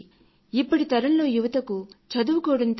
ఇప్పటి తరంలో యువజనులకు చదువుకోవడంతో పాటు